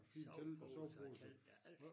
Soveposer og telte ja alting